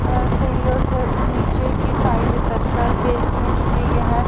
और सीढ़ियों से उ नीचे की साइड उतर कर बेसमेंट में यह--